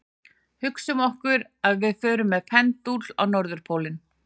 Hugsum okkur að við förum með pendúl á norðurpólinn.